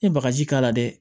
I ye bagaji k'a la dɛ